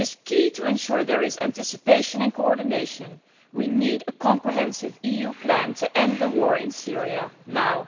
It is crucial to ensure there is anticipation and coordination we need a comprehensive EU plan to end the war in Syria now.